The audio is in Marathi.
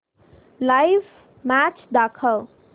लाइव्ह मॅच दाखव